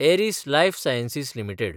Aries lifesciences limited